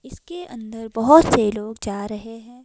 इसके अंदर बहुत से लोग जा रहे हैं।